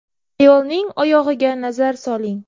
Ayolning oyog‘iga nazar soling.